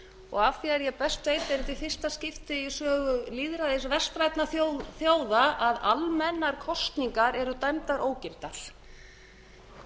og að því er ég best veit er þetta í fyrsta skipti í sögu lýðræðis vestrænna þjóða að almennar kosningar eru dæmdar ógildar við